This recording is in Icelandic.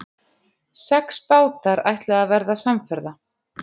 Sex bátar ætluðu að verða samferða.